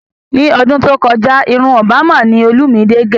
Ní ọdún tó kọjá irun Òbámà ni olúmidé gẹ̀